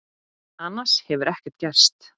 Annars hefur ekkert gerst